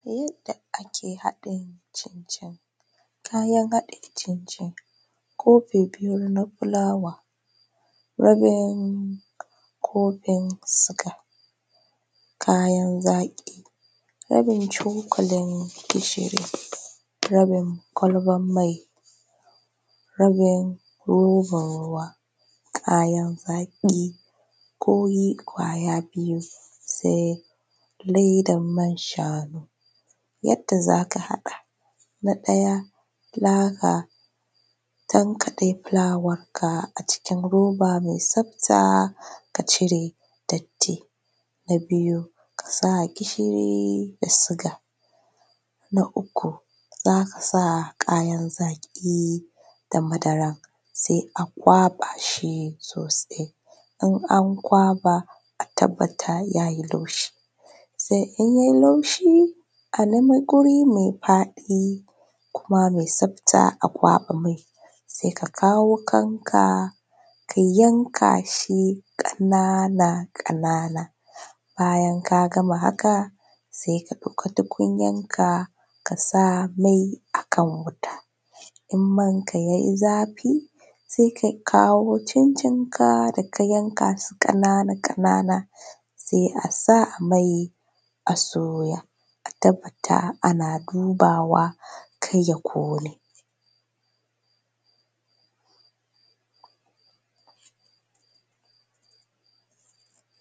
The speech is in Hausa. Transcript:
Yadda ake haɗa cin-cin, kayan haɗa cin-cin, kofi biyu na fulawa, rabin kofin suga, kayan zaƙi, rabin cokalin gishiri, rabin ƙwalban mai, rabin roban ruwa, kayan zaki ko yi ƙwaya biyu sai ledan man shanu, yadda zaka haɗa na ɗaya zaka tankaɗe fulawar ka a cikin roba mai tsafta ka cire datti, na biyu kasa gishiri da suga, na uku zaka sa kayan zaki da madara sai a ƙwaɓa shi sosai in an ƙwaɓa a tabbata yayi laushi, sai in ya yi laushi a nemo guri mai faɗi kuma mai tsafta a ƙwaɓa shi sai ka kawo wuƙarka ka yanka shi kanana-kanana bayan ka gama haka sai ka ɗauki tukuyar ka kasa mai a ka wuta, idan manka ya yi zafi sai ka kawo cin-cin ka da ka yanka su kanana sai a sa a mai a soya, a tabbata ana dubawa kar ya kone.